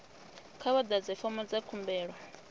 kha vha ḓadze fomo dza khumbelo